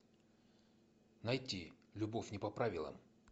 найти любовь не по правилам